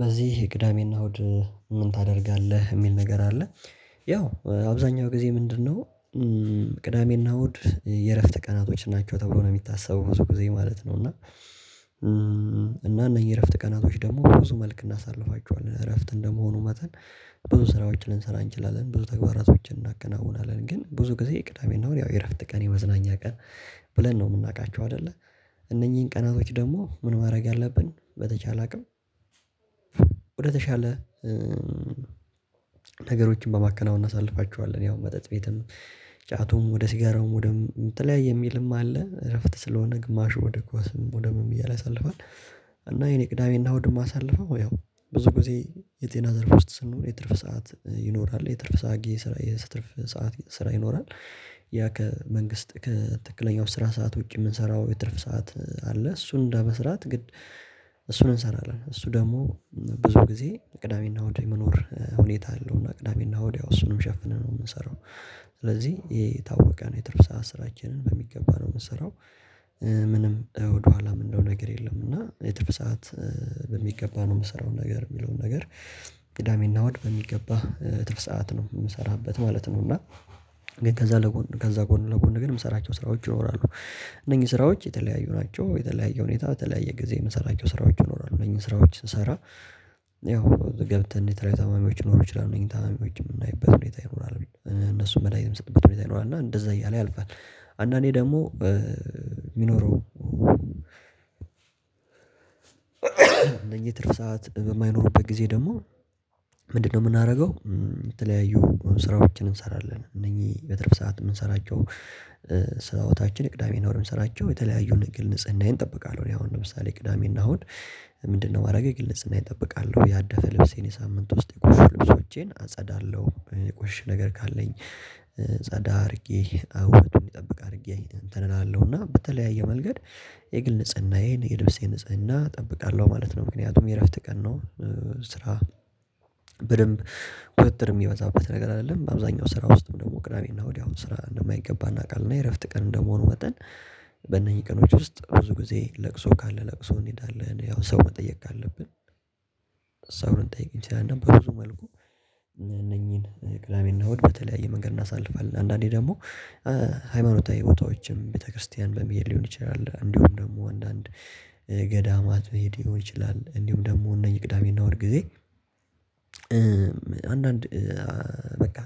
በዚህ ቅዳሜ እና እሁድ ምን ታደርጋለህ የሚል ነገር አለ? ያው አብዛኛው ጊዜ ምንድነው? ቅዳሜ እና እሁድ የእረፍት ቀናቶች ናቸው ተብሎ ነው የሚታሰበው ብዙ ጊዜ ማለት ነው። እና እና እነኚህ እረፍት ቀናቶች ደግሞ በብዙ መልክ እናሳልፋቸዋለን እረፍት እንደመሆኑ መጠን። ብዙ ስራዎችን ልንሰራ እንችላለን ብዙ ተግባራቶችን እናከናውናለን ግን ብዙ ጊዜ ቅዳሜ እና እሁድ ያው የእረፍት ቀን የመዝናኛ ቀን። ብለን ነው የምናውቃቸው አይደለ እነኚህን ቀናቶች ደግሞ ምን ማድረግ አለብን በተቻለ አቅም? ወደተሻለ ነገሮችን በማከናወን እናሳልፋቸዋለን ያው መጠጥ ቤትም ጫቱም ወደ ሲጋራውም ወደ የምትለያይ የሚልም አለ እረፍት ስለሆነ ግማሹ ወደ ኳስም ወደ ምን እያለ ያሳልፋል። እና የኔ ቅዳሜ እና እሁድ እማሳልፈው ያው ብዙ ጊዜ የጤና ዘርፍ ውስጥ ስንሆን የትርፍ ሰዓት ይኖራል የትርፍ ሰዓት ስራ ይኖራል። ያ ከመንግስት ከትክክለኛው ስራ ሰዓት ውጪ የምንሰራው የትርፍ ሰዓት አለ። እሱን እንደመስራት ግን። እሱን እንሰራለን እሱ ደግሞ ብዙ ጊዜ ቅዳሜ እና እሁድ የመኖር ሁኔታ አለው። እና ቅዳሜ እና እሁድ ያው እሱንም ሸፍነን ነው የምንሰራው። ስለዚህ የታወቀ ነው የትርፍ ሰዓት ስራችንን በሚገባ ነው የምንሰራው። ምንም ወደኋላ የምንለው ነገር የለም። እና የትርፍ ሰዓት በሚገባ ነው የምሰራው ነገር የሚለውን ነገር። ቅዳሜ እና እሁድ በሚገባ ትርፍ ሰዓት ነው የምሰራበት ማለት ነው። እና ግን ከዛ ለጎን ከዛ ጎን ለጎን ግን የምሰራቸው ስራዎች ይኖራሉ። እነኚህ ስራዎች የተለያዩ ናቸው የተለያየ ሁኔታ የተለያየ ጊዜ የምሰራቸው ስራዎች ይኖራሉ እነኚህን ስራዎች ስሰራ። ያው ገብተን እንዴት ታማሚዎች ሊኖሩ ይችላሉ የእኔ ታማሚዎች የምናይበት ሁኔታ ይኖራል እነሱን መድሃኒት የምንሰጥበት ሁኔታ ይኖራል እና እንደዛ እያለ ያልፋል። አንዳንዴ ደግሞ የሚኖረው እነኚህ የትርፍ ሰዓት በማይኖሩበት ጊዜ ደግሞ ምንድነው? የምናደርገው የተለያዩ ስራዎችን እንሰራለን እነኚህ በትርፍ ሰዓት የምንሰራቸው። ስራዎቻችን ቅዳሜ እና እሁድ የምንሰራቸው የተለያዩ ንግል ንጽህናዬን እጠብቃለሁ። እኔ አሁን ለምሳሌ ቅዳሜ እና አሁን ምንድነው እማረገው የግል ንጽህናዬን እጠብቃለሁ። ያደፈ ልብሴን የሳምንት ውስጥ የቆሸሹ ልብሶቼን አጸዳለሁ የቆሸሸ ነገር ካለኝ። ጻዳ አድርጌ ዉበቱን እንዲጠብቅ አድርጌ እንትን እላለሁ እና በተለያየ መንገድ የግል ንጽህናዬን የልብሴ ንጽህና እጠብቃለሁ ማለት ነው። ምክንያቱም የእረፍት ቀን ነው። ስራ በደንብ ቁጥጥር የሚበዛበት ነገር አይደለም በአብዛኛው ስራ ውስጥም ደግሞ ቅዳሜ እና እሁድ ስራ እንደማይገባ እናውቃለን። እና የእረፍት ቀን እንደመሆኑ መጠን። በእነኚህ ቀኖች ውስጥ ብዙ ጊዜ ለቅሶ ካለ ለቅሶ እንሄዳለን ያው ሰው መጠየቅ ካለብን። ሰው ልንጠይቅ እንችላለን በብዙ መልኩ። እነኚህን ቅዳሜ እና እሁድ በተለያየ መንገድ እናሳልፋለን። አንዳንዴ ደግሞ ሃይማኖታዊ ቦታዎችም ቤተክርስቲያን በሄድ ሊሆን ይችላል። እንዲሁም ደግሞ አንዳንድ ገዳማት መሄድ ሊሆን ይችላል። እንዲሁም ደግሞ እነኚህ ቅዳሜ እና እሁድ ጊዜ። አንዳንድ በቃ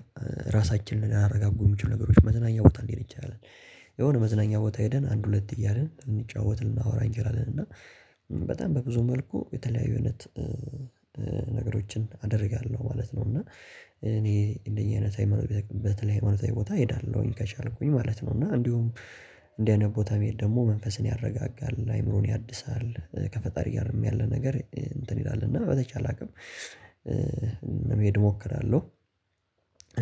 ራሳችንን ሊያረጋጉ የሚችሉ ነገሮች መዝናኛ ቦታ ሊንሄድ እንችላለን። የሆነ መዝናኛ ቦታ ሄደን አንድ ሁለት እያልን ልንጫወት ልናወራ እንችላለን። እና በጣም በብዙ መልኩ የተለያዩ አይነት ነገሮችን አደርጋለሁ ማለት ነው። እና እኔ እንደኚ በተለይ ሃይማኖታዊ ቦታ እሄዳለሁኝ ከቻልኩኝ ማለት ነው። እና እንዲሁም እንዲህ አይነት ቦታ መሄድ ደግሞ መንፈስን ያረጋጋል። አእምሮን ያድሳል። ከፈጣሪ ያለው ያለ ነገር እንትን ይላል እና በተቻለ አቅም ለመሄድ እሞክራለሁ።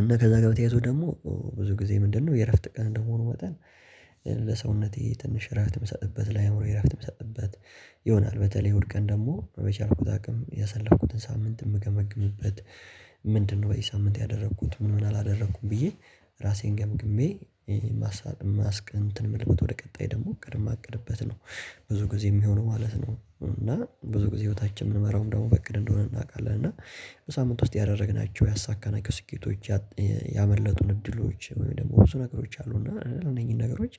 እና ከዛ ጋር በተያያዘ ደግሞ ብዙ ጊዜ ምንድነው የእረፍት ቀን እንደሆኑ መጠን። ለሰውነቴ ትንሽ እረፍት የምሰጥበት ለአእምሮዬ እረፍት የምሰጥበት ይሆናል። በተለይ እሁድ ቀን ደግሞ በቻልኩት አቅም ያሰለፍኩትን ሳምንት የምገመግምበት። ምንድነው? በዚህ ሳምንት ያደረኩት ምን ምን አላደረኩም ብዬ ራሴን ገምግሜ ማስክ እንትን ምልክት ወደ ቀጣይ ደግሞ እቅድ እማቅድበት ነው። ብዙ ጊዜ የሚሆነው ማለት ነው። እና ብዙ ጊዜ ህይወታችን የምንመራውም ደግሞ በእቅድ እንደሆነ እናውቃለን። እና በሳምንት ውስጥ ያደረግናቸው ያሳካናቸው ስኬቶች። ያመለጡን እድሎች ወይም ደግሞ ብዙ ነገሮች አሉ እና እነዚህን ነገሮች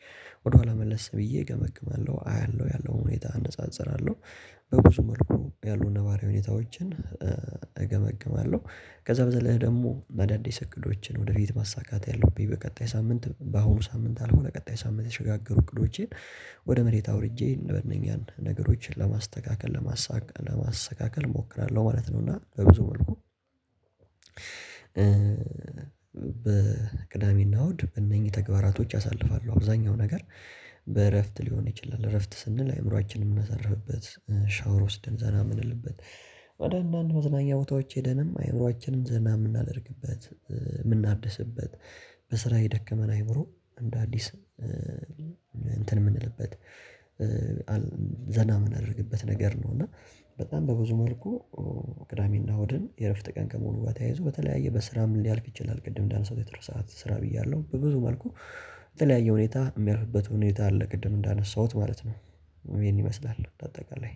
ወደኋላ መለስ ብዬ እገመግማለሁ አያለሁ ያለውን ሁኔታ አነጻጽራለሁ። በብዙ መልኩ ያሉ ነባራዊ ሁኔታዎችን እገመግማለሁ። ከዛ በዘለለ ደግሞ በአዳዲስ እቅዶችን ወደፊት ማሳካት ያለብኝ በቀጣይ ሳምንት በአሁኑ ሳምንት ካልሆነ ቀጣይ ሳምንት የተሸጋገሩ እቅዶቼን። ወደ መሬት አውርጄ እነበኛን ነገሮች ለማስተካከል ለማስተካከል እሞክራለሁ ማለት ነው። እና በብዙ መልኩ። ቅዳሜ እና እሁድ በእነኚህ ተግባራቶች አሳልፋለው አብዛኛው ነገር። በእረፍት ሊሆን ይችላል። እረፍት ስንል አይምሮአችንን የምናሳርፍበት ሻወር ወስደን ዘና ምንልበት። ወደ አንዳንድ መዝናኛ ቦታዎች ሄደንም አይምሮአችንን ዘና የምናደርግበት የምናብድስበት። በስራ የደከመን አይምሮ እንደ አዲስ እንትን የምንልበት ዘና የምናደርግበት ነገር ነው። እና በጣም በብዙ መልኩ ቅዳሜ እና እሁድን የእረፍት ቀን ከመሆኑ ጋር ተያይዞ በተለያየ በስራም ሊያልፍ ይችላል። ቅድም እንዳንሳውት የትርፍ ሰዓት ስራ ብያለሁ በብዙ መልኩ የተለያየ ሁኔታ የሚያርፍበት ሁኔታ አለ። ቅድም እንዳነሳሁት ማለት ነው። ይሄን ይመስላል በአጠቃላይ